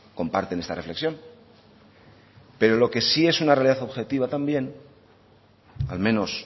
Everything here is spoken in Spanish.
comparten esta reflexión pero lo que sí es una realidad objetiva también al menos